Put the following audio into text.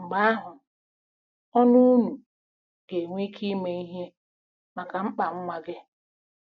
Mgbe ahụ, ọnụ, unu ga-enwe ike ime ihe maka mkpa nwa gị. ”